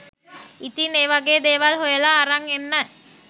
ඉතිං ඒ වගේ දේවල් හොයලා අරන් එන්න